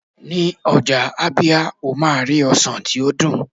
ní ọjà ábíá, o ma ri ọsàn ti o dun